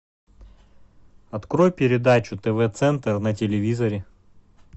открой передачу тв центр на телевизоре